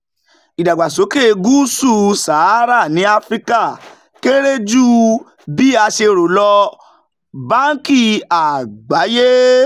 ìdàgbàsókè ní gúúsù sahara ní áfíríkà kéré ju bí a ṣe rò lọ - báńkì àgbáyé